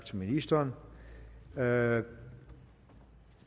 til ministeren da